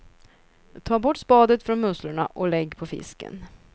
Ta bort spadet från musslorna och lägg på fisken.